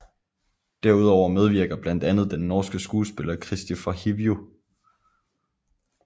Derudover medvirker blandt andet den norske skuespiller Kristofer Hivju